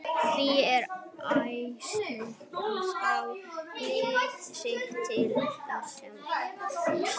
Því er æskilegt að skrá lið sitt til þátttöku sem fyrst.